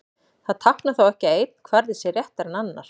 Það táknar þó ekki að einn kvarði sé réttari en annar.